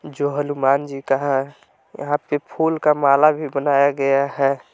जो हनुमान जी है यहां पे फुल का माला भी बनाया गया है।